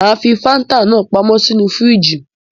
Mà á fi Fanta náà pamọ́ sínú fíríjì.